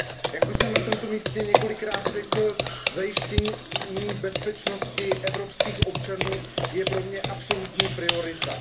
Jak už jsem na tomto místě několikrát řekl, zajištění bezpečnosti evropských občanů je pro mě absolutní prioritou.